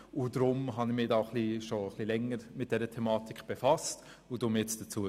Deshalb habe ich mich schon ein bisschen länger mit dieser Thematik befasst und äussere mich jetzt dazu.